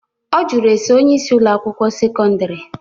Ọ jụrụ ese onyeisi Ụlọ akwụkwọ sekọndrị.